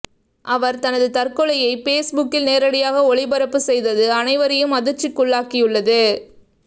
அவர் தனது தற்கொலையை பேஸ்புக்கில் நேரடியாக ஒளிபரப்பு செய்தது அனைவரையும் அதிர்ச்சிக்குள்ளாக்கியுள்ளது